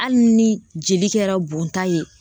Hali ni joli kɛra bɔnta ye